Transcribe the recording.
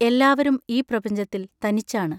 എല്ലാവരും ഈ പ്രപഞ്ചത്തിൽ തനിച്ചാണ്.